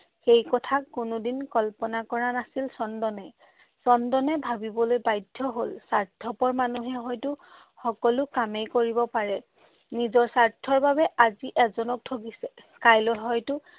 সেই কথা কোনোদিন কল্পনা কৰা নাছিল চন্দনে। চন্দনে ভাৱিবলৈ বাধ্য হ'ল স্বাৰ্থপৰ মানুহে হয়তো সকলো কামেই কৰিব পাৰে। নিজৰ স্বাৰ্থৰ বাবে আজি এজনক ঠগিছে। কাইলৈ হয়তো